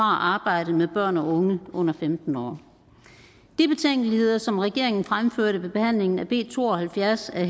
arbejde med børn og unge under femten år de betænkeligheder som regeringen fremførte ved behandlingen af b to og halvfjerds er